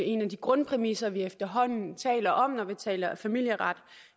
en af de grundpræmisser vi efterhånden taler om når vi taler familieret og